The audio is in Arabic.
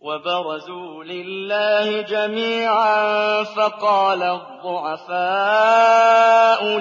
وَبَرَزُوا لِلَّهِ جَمِيعًا فَقَالَ الضُّعَفَاءُ